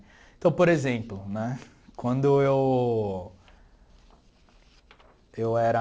Então, por exemplo né, quando eu eu era...